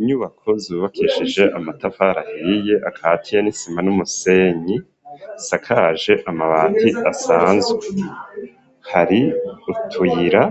Inyubako zubakishije amatafari ahiye akatiye n'isima n'umusenyi asakaje amabati asanzwe hari utuyira